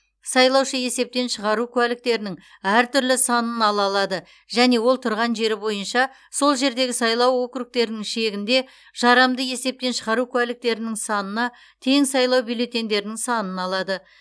сайлаушы есептен шығару куәліктерінің әр түрлі санын ала алады және ол тұрған жері бойынша сол жердегі сайлау округтерінің шегінде жарамды есептен шығару куәліктерінің санына тең сайлау бюллетеньдерінің санын алады